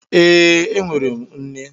Ee e, enwere m nne.